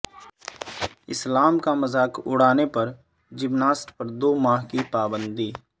اسلام کا مذاق اڑانے پر جمناسٹ پر دو ماہ کی پابندی